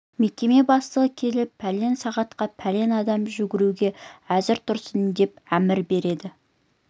мекеме бастығына келіп пәлен сағатқа пәлен адам жүруге әзір тұрсын деп әмір береді